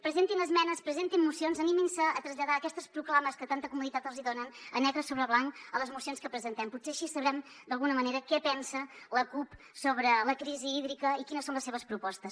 presentin esmenes presentin mocions animin se a traslladar aquestes proclames que tanta comoditat els hi donen a negre sobre blanc a les mocions que presentem potser així sabrem d’alguna manera què pensa la cup sobre la crisi hídrica i quines són les seves propostes